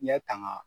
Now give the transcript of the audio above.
Ɲɛ tanga